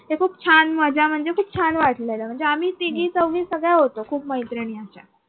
ते खूप छान मजा म्हणजे खूप छान वाटलेलं म्हणजे आम्ही तिघी चौघी सगळ्या होतो खूप मैत्रिणी.